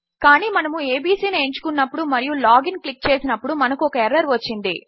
కానీ మనము ఏబీసీ ను ఎంచుకున్నప్పుడు మరియు లాగ్ ఇన్ క్లిక్ చేసినప్పుడు మనకు ఒక ఎర్రర్ వచ్చింది